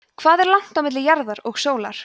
hvað er langt á milli jarðar og sólar